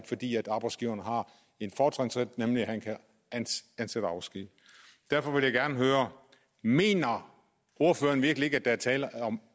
fordi arbejdsgiveren har en fortrinsret nemlig at han kan ansætte og afskedige derfor vil jeg gerne høre mener ordføreren virkelig ikke at der er tale om